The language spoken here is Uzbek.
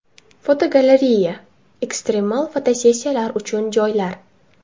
Fotogalereya: Ekstremal fotosessiyalar uchun joylar.